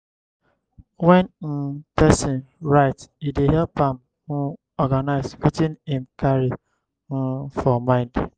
when um person write e dey help am um organize wetin im carry um for mind